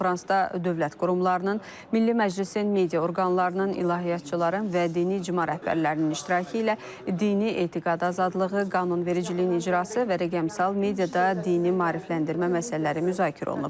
Konfransda dövlət qurumlarının, Milli Məclisin media orqanlarının, ilahiyyatçıların və dini icma rəhbərlərinin iştirakı ilə dini etiqad azadlığı, qanunvericiliyin icrası və rəqəmsal mediada dini maarifləndirmə məsələləri müzakirə olunub.